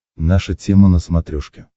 наша тема на смотрешке